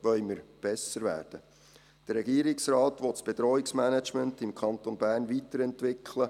» Der Regierungsrat will das Bedrohungsmanagement im Kanton Bern weiterentwickeln.